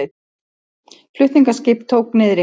Flutningaskip tók niðri